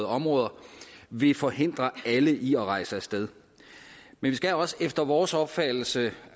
områder vil forhindre alle i at rejse af sted men vi skal også efter vores opfattelse